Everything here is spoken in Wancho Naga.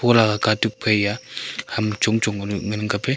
pura katuak phaiya ham chong chong penu ngan kap ley.